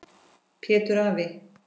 Pétur afi.